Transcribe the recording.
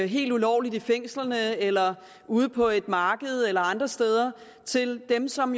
helt ulovligt i fængslerne eller ude på et marked eller andre steder til dem som